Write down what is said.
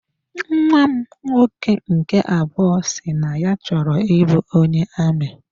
Nnwa m nwoke nke abụọ si na ya chọrọ ị bụ onye amị.